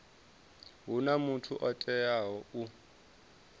huna muthu o teaho u